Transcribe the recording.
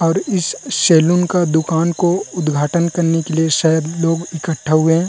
और इस सलून का दुकान को उद्घाटन करने के लिए शायद लोग इकठ्ठा हुए है।